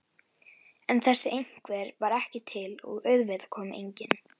En þessi einhver var ekki til og auðvitað kom enginn.